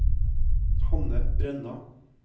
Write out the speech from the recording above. Hanne Brenna